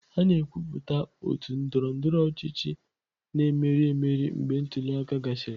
A na-ekwupụta otu ndọrọ ndọrọ ọchịchị na-emeri emeri mgbe ntuli aka gasịrị.